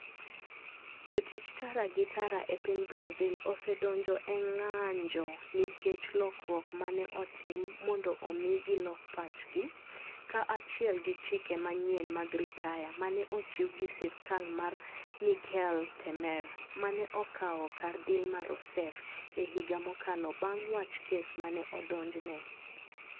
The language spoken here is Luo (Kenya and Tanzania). Jotich tara gi tara e piny Brazil osedonjo e ng'anjo nikech lokruok ma ne otim mondo omi gilok pachgi, kaachiel gi chike manyien mag ritaya ma ne ochiw gi sirkal mar Michel Temer, ma ne okawo kar Dilma Rousseff e higa mokalo bang ' wach kes ma ne odonjne.